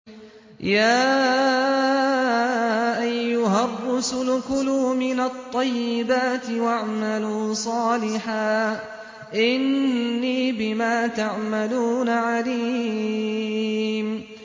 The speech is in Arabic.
يَا أَيُّهَا الرُّسُلُ كُلُوا مِنَ الطَّيِّبَاتِ وَاعْمَلُوا صَالِحًا ۖ إِنِّي بِمَا تَعْمَلُونَ عَلِيمٌ